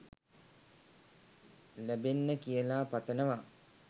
ලැබෙන්න කියලා පතනවා